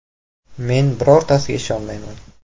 Men birortasiga ishonmayman.